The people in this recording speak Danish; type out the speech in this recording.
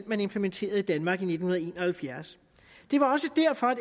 man implementerede i danmark i nitten en og halvfjerds det var også derfor at